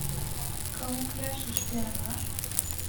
камуфляж и шпионаж